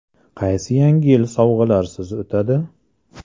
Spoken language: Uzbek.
Qaysi Yangi yil sovg‘alarsiz o‘tadi?